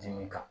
Dimi kan